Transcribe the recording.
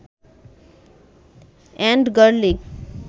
and garlic